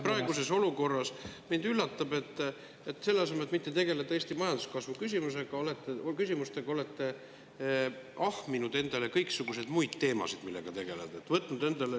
Praeguses olukorras mind üllatab, et selle asemel, et tegeleda Eesti majanduskasvu küsimustega, olete te ahminud endale kõiksuguseid muid teemasid, millega tegeleda, võtnud neid endale.